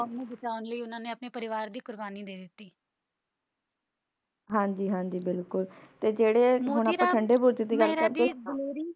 ਹਾਂਜੀ ਹਾਂਜੀ ਤੇ ਬਿਲਕੁਲ ਤੇ ਜਿਹੜੇ ਠੰਡੇ ਬੁਰਜੇ ਦੀ ਗੱਲ ਕਰਦੇ ਆ